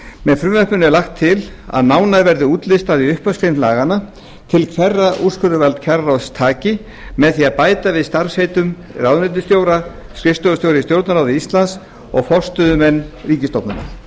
með frumvarpinu er lagt til að nánar verði útlistað í upphafsgrein laganna til hverra úrskurðarvald kjararáðs taki með því að bæta við starfsheitum ráðuneytisstjóra skrifstofustjóra í stjórnarráði íslands og forstöðumenn ríkisstofnana